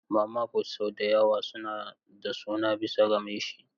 Mama fut sau da yawa suna da suna bisa ga mai shi.